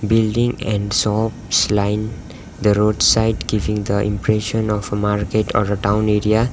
building and shops line the roadside giving the impression of a market or a town area.